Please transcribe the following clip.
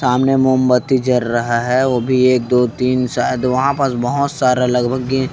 सामने मोमबत्ती जर रहा है वो भी एक दो तीन शायद वहाँ पस बहोत सारा लगभग--